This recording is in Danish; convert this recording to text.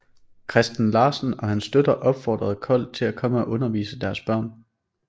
Christen Larsen og hans støtter opfordrede Kold til at komme og undervise deres børn